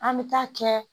An bɛ taa kɛ